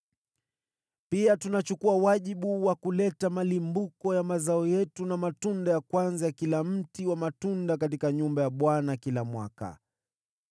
“Pia tunachukua wajibu wa kuleta malimbuko ya mazao yetu na matunda ya kwanza ya kila mti wa matunda katika nyumba ya Bwana kila mwaka.